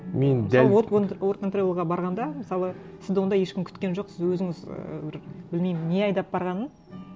мен дәл сол уорк энд тревелға барғанда мысалы сізді онда ешкім күткен жоқ сіз өзіңіз ы бір білмеймін не айдап барғанын